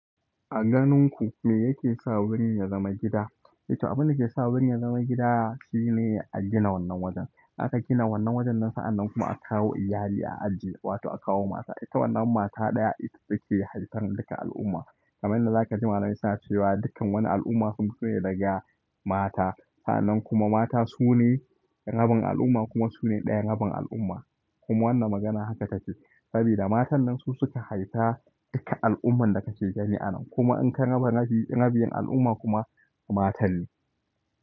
A ganin ku me yake sa guri ya zama gida? Eh toh abin da yake sa wuri ya zama gida shine a gina wannan wajen. Aka gina wannan wajen nan sa'annan kuma aka kawo iyali a ajiye, wato aka kawo mata. Ita wannan mata ɗaya ita ce ki haifar duka al'umma. Kamar yadda za ka ji malamai suna cewa dukkan wani al'umma sun fitu daga mata. Sa'annan kuma mata su ne rabin al'umma kuma su ne ɗayan rabin al'umma. Kuma wannan magana haka take. Sabida matan nan su suka haifi duka al'umman da kake gani a nan. Kuma in ka raba rabin al'umma kuma mata ne.